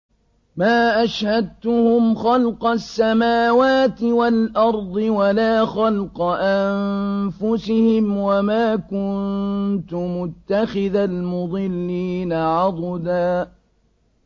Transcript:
۞ مَّا أَشْهَدتُّهُمْ خَلْقَ السَّمَاوَاتِ وَالْأَرْضِ وَلَا خَلْقَ أَنفُسِهِمْ وَمَا كُنتُ مُتَّخِذَ الْمُضِلِّينَ عَضُدًا